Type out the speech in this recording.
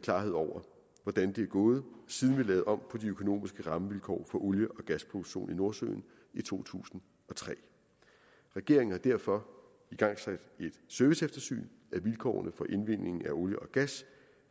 klarhed over hvordan det er gået siden vi lavede om på de økonomiske rammevilkår for olie og gasproduktion i nordsøen i to tusind og tre regeringen har derfor igangsat et serviceeftersyn af vilkårene for indvindingen af olie og gas